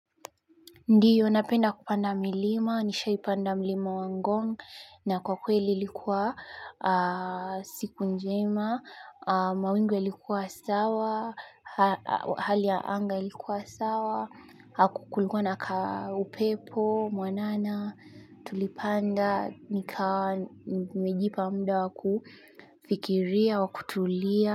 Ndiyo, napenda kupanda milima, nisha ipanda milima wangongu, na kwa kweli likuwa siku njema, mawingu yalikuwa sawa, hali ya anga likuwa sawa, kukulikuwa na ka upepo, mwanana, tulipanda, nika, nimejipa mda wakufikiria wakutulia.